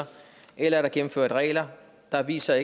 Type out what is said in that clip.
eller er der gennemført regler der viser